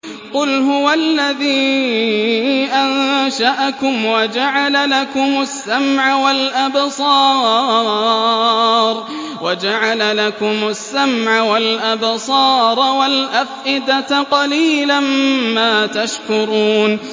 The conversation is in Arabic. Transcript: قُلْ هُوَ الَّذِي أَنشَأَكُمْ وَجَعَلَ لَكُمُ السَّمْعَ وَالْأَبْصَارَ وَالْأَفْئِدَةَ ۖ قَلِيلًا مَّا تَشْكُرُونَ